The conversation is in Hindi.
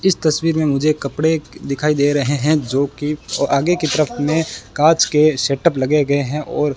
इस तस्वीर में मुझे कपड़े दिखाई दे रहे हैं जोकि आगे की तरफ में कांच के सेटअप लगे गए हैं और --